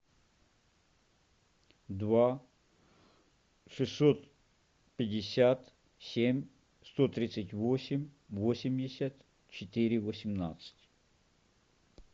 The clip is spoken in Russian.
два шестьсот пятьдесят семь сто тридцать восемь восемьдесят четыре восемнадцать